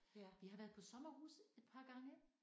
Vi har været på sommerhus et par gange